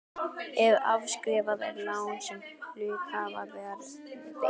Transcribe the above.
ef afskrifað er lán sem hluthafa var veitt.